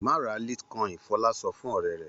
Má ra litecoin! Fọlá sọ fún ọ̀rẹ́ rẹ̀.